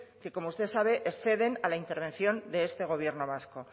que como usted sabe exceden a la intervención de este gobierno vasco